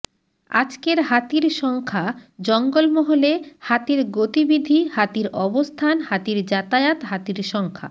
আজকের হাতির সংখ্যা জঙ্গলমহলে হাতির গতিবিধি হাতির অবস্থান হাতির যাতায়াত হাতির সংখ্যা